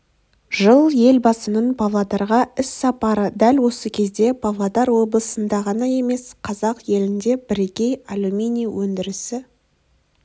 жыл елбасының павлодарға іс-сапары дәл осы кезде павлодар облысында ғана емес қазақ елінде бірегей алюминий өндірісі